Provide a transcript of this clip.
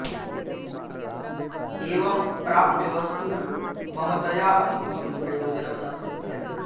एवं प्राप्यवस्तुषु ममतया अपि किमपि प्रयोजनं न सिद्ध्यति